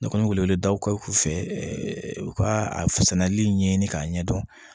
Ne kɔni wele wele daw kɛ k'u fɛ ɛɛ u ka a sɛnɛli ɲɛɲini k'a ɲɛdɔn